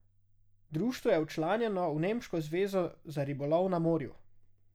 Društvo je včlanjeno v nemško zvezo za ribolov na morju.